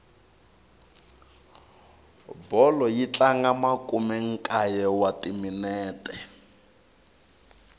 bolo yi tlanga makumenkaye wa timinete